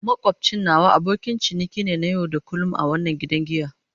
Makwabcin nawa abokin ciniki ne na yau da kullun a wannan gidan giya.